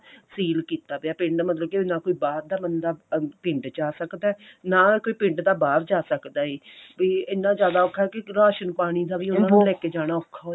ਸੀਲ ਕੀਤਾ ਵਿਆ ਪਿੰਡ ਮਤਲਬ ਕੀ ਨਾ ਕੋਈ ਬਾਹਰ ਦਾ ਬੰਦਾ ਪਿੰਡ ਚ ਆ ਸਕਦਾ ਨਾ ਕੋਈ ਪਿੰਡ ਦਾ ਬਾਹਰ ਜਾ ਸਕਦਾ ਏ ਇਹ ਇੰਨਾ ਜਿਆਦਾ ਔਖਾ ਕਿ ਰਾਸ਼ਨ ਪਾਣੀ ਦਾ ਵੀ ਉਹਨਾ ਨੂੰ ਲੈ ਕੇ ਜਾਣਾ ਔਖਾ